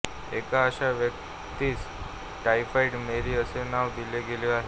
एका अशा व्यक्तीस टायफॉइड मेरी असे नाव दिले गेले आहे